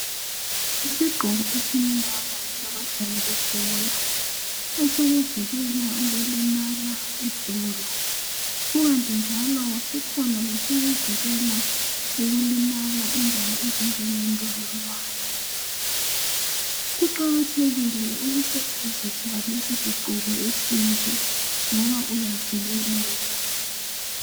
Isigqoko esimnyama sabadlali bebhola esokuvikela ukulimala edolo kukanti njalo sikhona lesokuvikela ukulimala indawo ezinjenge ndololwane kuqakatheke ukusebenzisa lesisigqoko esinje ngoba uyavikeleka